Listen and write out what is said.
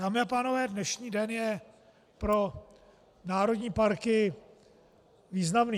Dámy a pánové, dnešní den je pro národní parky významný.